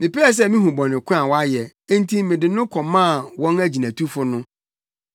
Mepɛɛ sɛ mihu bɔne ko a wayɛ, enti mede no kɔmaa wɔn agyinatufo no.